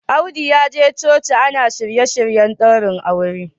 Audu ya je coci ana shirye-shiryen daurin aure